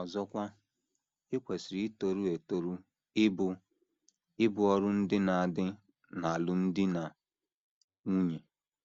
Ọzọkwa, i kwesịrị itoru etoru ibu ibu ọrụ ndị na - adị n’alụmdi na nwunye.